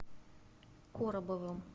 коробовым